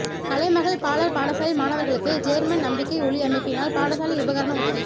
கலைமகள் பாலர் பாடசாலை மாணவர்களுக்கு ஜேர்மன் நம்பிக்கை ஒளி அமைப்பினால் பாடசாலை உபகரண உதவி